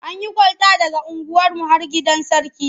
An yi kwalta daga unguwarmu har gidan Sarki.